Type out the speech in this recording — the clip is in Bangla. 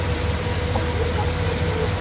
কবির কাছে সেই